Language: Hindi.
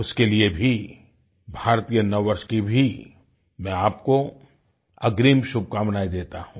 उसके लिए भी भारतीय नववर्ष की भी मैं आपको अग्रिम शुभकामनायें देता हूँ